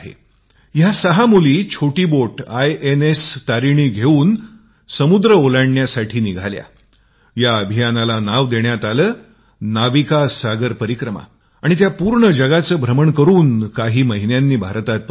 या सहा मुली छोटी बोट घेऊन आयएनएस तारिणी त्या समुद्र ओलांडण्यासाठी निघाल्या या अभियानाला नाव देण्यात आले नाविका सागर परिक्रमा आणि त्या पूर्ण जगाचे भ्रमण करून काही महिन्यांनी भारतात परतल्या